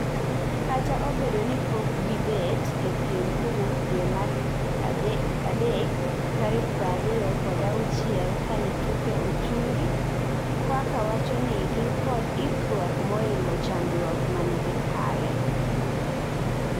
kata obedo nipok gi bet e piem kowuok dwe mar ade ktarik prariyo kod auchiel kane tuke ochungi Kwaka wachoni ginkod ikruok moingo chandruok mane gi kale